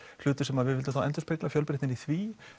hlutur sem við vildum þá endurspegla fjölbreytnina í því